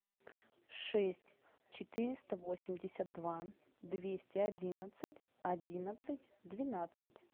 шесть четыреста восемьдесят два двести одиннадцать одиннадцать двенадцать